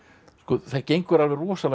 það gengur alveg rosalega vel